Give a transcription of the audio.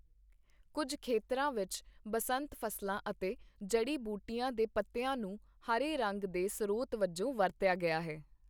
ਕੁੱਝ ਖੇਤਰਾਂ ਵਿੱਚ, ਬਸੰਤ ਫ਼ਸਲਾਂ ਅਤੇ ਜੜੀ ਬੂਟੀਆਂ ਦੇ ਪੱਤਿਆਂ ਨੂੰ ਹਰੇ ਰੰਗ ਦੇ ਸਰੋਤ ਵਜੋਂ ਵਰਤਿਆ ਗਿਆ ਹੈ।